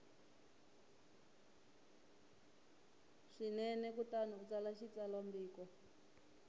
swinene kutani u tsala xitsalwambiko